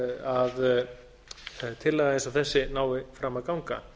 að tillaga eins og þessi nái fram að ganga